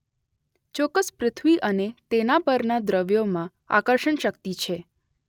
ચોક્કસ પૃથ્વી અને તેના પરના દ્રવ્યોમાં આકર્ષણશક્તિ છે.